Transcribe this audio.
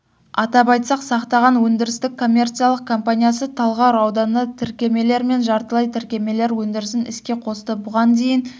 атап айтсақ сақтаған өндірістік-коммерциялық компаниясы талғар ауданына тіркемелер мен жартылай тіркемелер өндірісін іске қосты бұған дейін